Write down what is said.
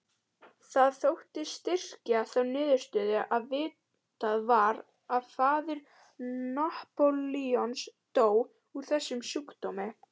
Það þótti styrkja þá niðurstöðu að vitað var að faðir Napóleons dó úr þessum sjúkdómi.